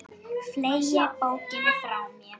Fleygi bókinni frá mér.